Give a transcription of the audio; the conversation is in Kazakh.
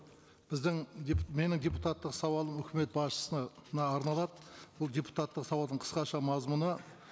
біздің менің депутаттық сауалым үкімет басшысына арналады бұл депутаттық сауалдың қысқаша мазмұны